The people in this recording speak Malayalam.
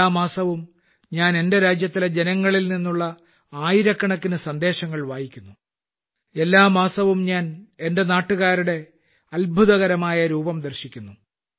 എല്ലാ മാസവും ഞാൻ എന്റെ രാജ്യത്തിലെ ജനങ്ങളിൽ നിന്നുള്ള ആയിരക്കണക്കിന് സന്ദേശങ്ങൾ വായിക്കുന്നു എല്ലാ മാസവും ഞാൻ രാജ്യക്കാരുടെ ഒരു അത്ഭുതകരമായ രൂപം ദർശിക്കുന്നു